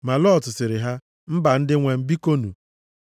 Ma Lọt sịrị ha, “Mba, ndị nwe m, bikonu,